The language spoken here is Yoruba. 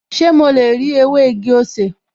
Ṣé mo lè rí ewé igi-osè?